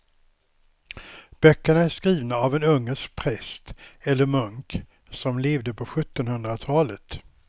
Böckerna är skrivna av en ungersk präst eller munk som levde på sjuttonhundratalet.